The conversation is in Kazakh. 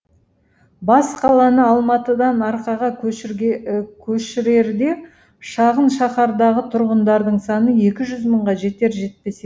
бас қаланы алматыдан арқаға көшірерде шағын шаһардағы тұрғындардың саны екі жүз мыңға жетер жетпес еді